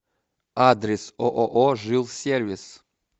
адрес ооо жилсервис